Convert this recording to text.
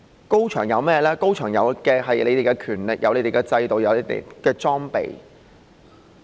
高牆有的是你們的權力、你們的制度及裝備。